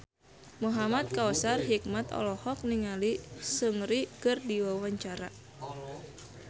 Muhamad Kautsar Hikmat olohok ningali Seungri keur diwawancara